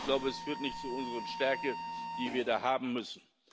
wird. Ich glaube, das führt nicht zu unserer Stärke, die wir da haben müssen.